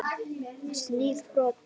Stíf brot.